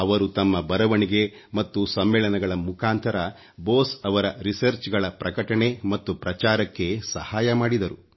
ಅವರು ತಮ್ಮ ಬರವಣಿಗೆ ಮತ್ತು ಸಮ್ಮೇಳನಗಳ ಮುಖಾಂತರ ಬೋಸ್ ರವರ ರಿಸರ್ಚ್ ಗಳ ಪ್ರಕಟಣೆ ಮತ್ತು ಪ್ರಚಾರಕ್ಕೆ ಸಹಾಯ ಮಾಡಿದರು